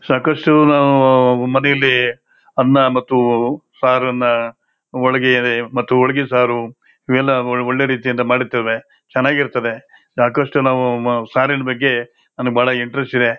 ಸಾಕಷ್ಟು ನಾವು ಆಹ್ ಮನೆಲ್ಲಿ ಅನ್ನ ಮತ್ತು ಆಹ್ ಸಾರನ್ನ ಒಳಗಡೆ ಮತ್ತು ಹೊಳಗೆ ಸಾರು ಇವನ್ನೆಲ್ಲಾ ಒಳ್ಳೆ ರೀತಿಯಿಂದ ಮಾಡತ್ತೇವೆ ಚೆನ್ನಾಗಿರುತ್ತದೆ ಸಾಕಷ್ಟು ನಾವು ಆಹ್ ಸಾರಿನ ಬಗ್ಗೆ ನನಗೆ ಬಹಳ ಇಂಟರೆಸ್ಟ್ ಇದೆ .